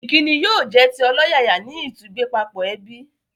Ìkíni yóò jẹ́ ti ọlọ́yàyà ní ìtúgbẹ́pápọ̀ ẹbí